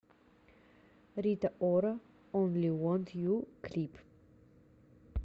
рита ора онли вонт ю клип